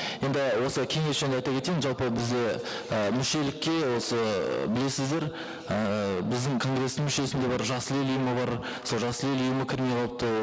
енді осы кеңес жөнінде айта кетейін жалпы бізде і мүшелікке осы білесіздер ііі біздің конгресстің мүшесінде бар жасыл ел ұйымы бар сол жасыл ел ұйымы кірмей қалыпты